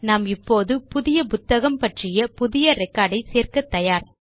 நாம் இப்போது புதிய புத்தகம் பற்றிய புதிய ரெக்கார்ட் ஐ சேர்க்க தயார்